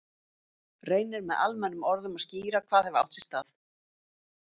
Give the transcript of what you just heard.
Reynir með almennum orðum að skýra hvað hafi átt sér stað.